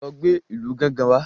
lọ gbé ìlù gángan wá!